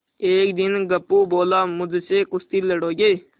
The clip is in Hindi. एक दिन गप्पू बोला मुझसे कुश्ती लड़ोगे